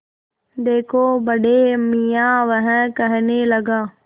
देखो बड़े मियाँ वह कहने लगा